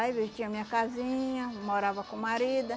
Aí eu tinha minha casinha, morava com o marido.